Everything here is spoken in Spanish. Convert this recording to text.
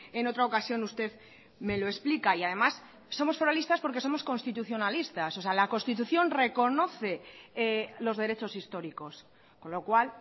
en otra ocasión usted me lo explica y además somos foralistas porque somos constitucionalistas o sea la constitución reconoce los derechos históricos con lo cual